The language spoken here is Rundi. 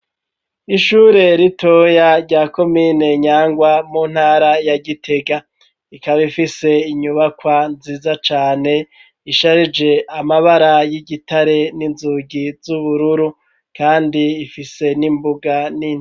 Ishure ritoya rya komine Nyangwa mu ntara ya Gitega rikaba ifise inyubakwa nziza cane isharije amabara y'igitare n'inzugi z'ubururu kandi ifise n'imbuga nini.